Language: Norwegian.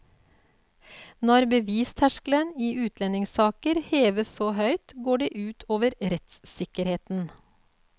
Når bevisterskelen i utlendingssaker heves så høyt, går det ut over rettssikkerheten.